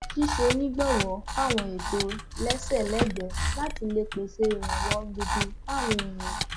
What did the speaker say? ṣíṣonígbọwọ fáwọn ètò lẹsẹẹlẹgbẹẹ láti lè pèsè ìrànwọ gidi fáwọn èèyàn